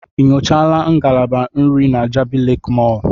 Ị nyochaala ngalaba nri na Jabi Lake Mall?